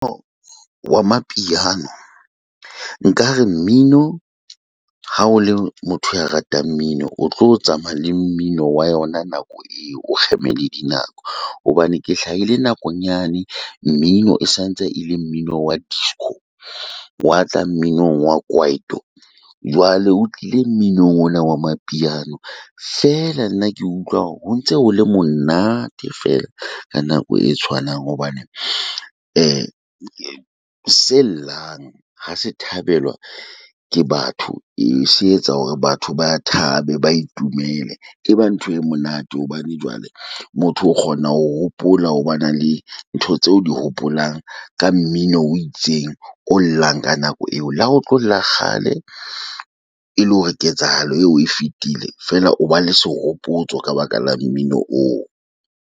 Mmino wa mapiano nkare mmino ha o le motho ya ratang mmino o tlo tsamaya le mmino wa yona nako eo o kgema le din nako. Hobane ke hlahile nakong yane mmino e santse ele mmino wa disco wa tla mminong wa kwaito. Jwale o tlile mmino ona wa mapiano feela nna ke utlwa ho ntse ho le monate fela ka nako e tshwanang hobane e se llang ha se thabelwa ke batho se etsa hore batho ba thabe. Ba itumele, e ba ntho e monate hobane jwale motho o kgona ho hopola ho ba na le ntho tseo di hopolang ka mmino o itseng, o llang ka nako eo. Le ha o tlolla kgale e le hore ketsahalo eo e fetile feela oba le sehopotso ka baka la mmino oo.